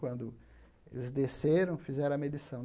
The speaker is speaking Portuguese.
Quando eles desceram, fizeram a medição.